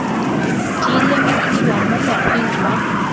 di lemogiwa mo mokgweng wa